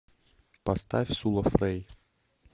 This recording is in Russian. поставь сула фрэй